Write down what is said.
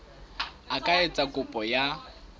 a ka etsa kopo ya